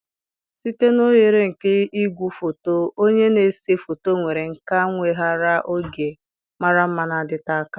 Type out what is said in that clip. Site n' oghere nke igwefoto, onye na-ese foto nwere nkà weghaara oge mara mma na-adịte aka.